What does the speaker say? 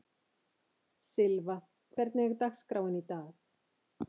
Sylva, hvernig er dagskráin í dag?